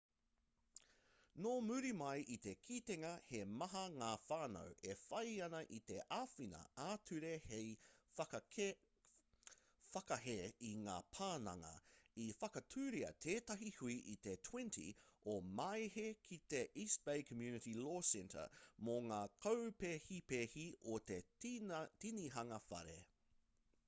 nō muri mai i te kitenga he maha ngā whānau e whai ana i te āwhina ā-ture hei whakahē i ngā pananga i whakatūria tētahi hui i te 20 o māehe ki te east bay community law centre mō ngā kaupēhipēhi o te tinihanga whare